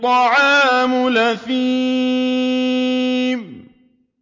طَعَامُ الْأَثِيمِ